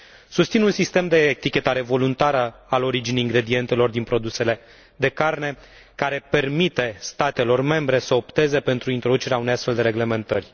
Susțin un sistem de etichetare voluntară a originii ingredientelor din produsele de carne care permite statelor membre să opteze pentru introducerea unei astfel de reglementări.